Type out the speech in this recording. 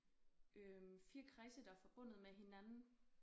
Øh 4 kredse der er forbundet med hinanden